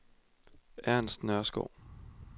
Ernst Nørskov